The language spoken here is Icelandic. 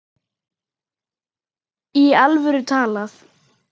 Í alvöru talað.